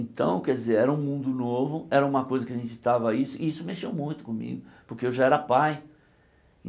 Então, quer dizer, era um mundo novo, era uma coisa que a gente estava isso, e isso mexeu muito comigo, porque eu já era pai.